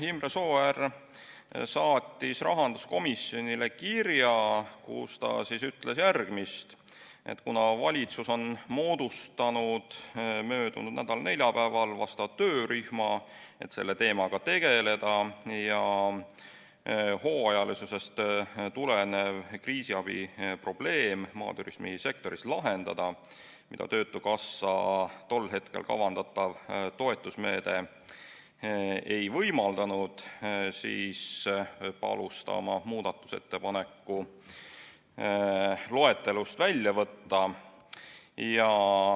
Imre Sooäär saatis rahanduskomisjonile kirja, kus ta ütles, et kuna valitsus on moodustanud möödunud nädala neljapäeval vastava töörühma, et selle teemaga tegeleda ja hooajalisusest tulenev kriisiabi probleem, mida töötukassa tol hetkel kavandatav toetusmeede ei võimaldanud, maaturismi sektoris lahendada, siis palus ta oma muudatusettepaneku loetelust välja võtta.